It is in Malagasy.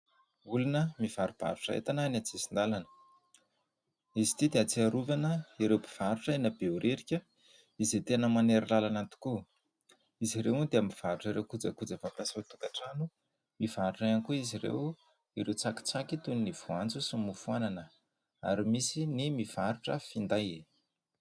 Olona mivarobarotra entana eny an-tsisin-dàlana. Izy ity dia ahatsiarovana ireo mpivarotra eny Behoririka izay tena manery làlana tokoa. Izy ireo dia mivarotra ireo kojakoja fampiasa ao an-tokantrano. Mivarotra ihany koa izy ireo ireo tsakitsaky toy ny voanjo sy ny mofo anana, ary misy ny mivarotra finday.